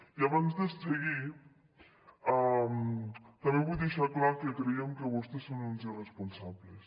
i abans de seguir també vull deixar clar que creiem que vostès són uns irresponsables